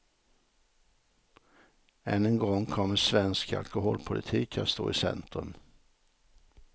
Än en gång kommer svensk alkoholpolitik att stå i centrum.